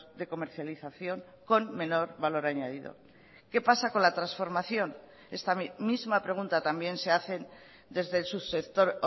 de comercialización con menor valor añadido qué pasa con la transformación esta misma pregunta también se hacen desde el subsector